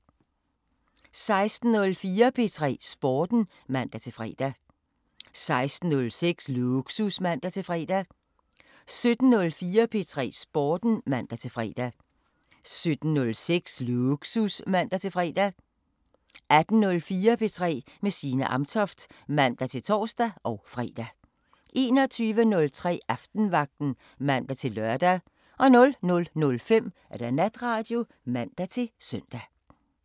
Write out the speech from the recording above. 16:04: P3 Sporten (man-fre) 16:06: Lågsus (man-fre) 17:04: P3 Sporten (man-fre) 17:06: Lågsus (man-fre) 18:04: P3 med Signe Amtoft (man-ons og fre) 21:03: Aftenvagten (man-lør) 00:05: Natradio (man-søn)